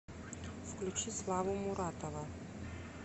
включи славу муратова